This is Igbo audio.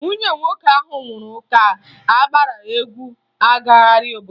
Nwunye nwoke ahụ nwụrụ ga-agbara egwu gagharịa obodo